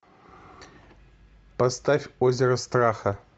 поставь озеро страха